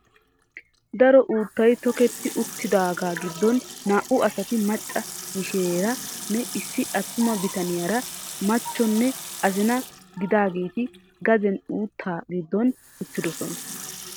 Daro uuttaay tokketti uttaagaa giddon naa"u asati macca mishireera nne issi attuma bitaniyaara machcho nne azina gidaageti gaden uuttaa giddon uttidoosona.